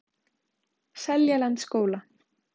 Seljalandsskóla